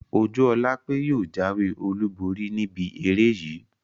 Ojúọlápé yóò jáwé olùborí níbi eré yìí